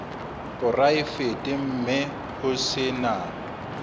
poraefete mme ho se na